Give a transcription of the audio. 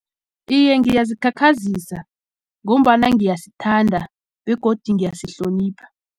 Iye, ngiyazikhakhazisa ngombana ngiyasithanda begodu ngiyasihlonipha.